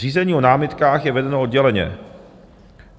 Řízení o námitkách je vedeno odděleně.